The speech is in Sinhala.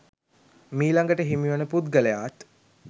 මීලඟට හිමි වන පුද්ගලයාත්